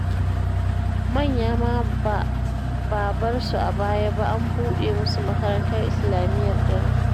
Manya ma ba bar su a baya ba, an buɗe musu makarantar islamiyyar dare